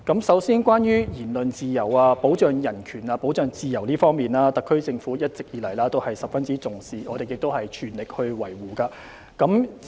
首先，關於言論自由、保障人權和自由方面，特區政府一直以來也十分重視，亦全力維護。